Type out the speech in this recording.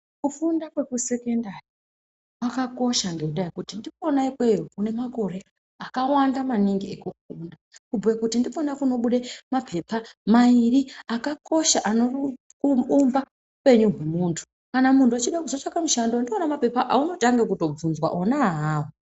Kufunda kwekusekendari kwakakosha ngendaa yekuti ndikona ikweyo kune makore akawanda maningi ekufunda. Kubhuye kuti kunobude mapepa mairi akakosha anoumba upenyu hwemuntu. Kana muntu echida kuzotsvake mushando ndiwona mapepa aunotange kutovhunzwa, ona awawo.